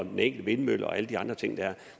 den enkelte vindmølle og alle de andre ting dér